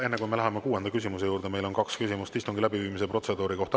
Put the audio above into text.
Enne, kui me läheme kuuenda küsimuse juurde, on meil kaks küsimust istungi läbiviimise protseduuri kohta.